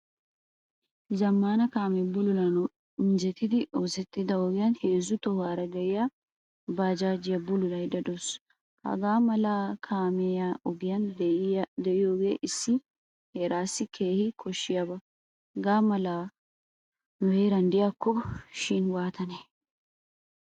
Zammaana kaame bululanawu injjettidi oosettida ogiyan heezzu tohuwaara de'iyaa baajjaajiyaa bululaydda de'awusu. Hagaa mala kaamiyaa oge de'iyoge issi heerassi keehin koshshiyaba. Haga malay nu heeran de'iyako shin waatane!